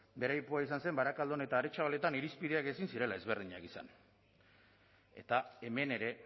bere aipua izan zen barakaldon eta aretxabaletan irizpideak ezin zirela ezberdinak izan eta hemen ere